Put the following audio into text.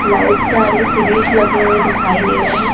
light लगे हुएं दिखाई दे रहें--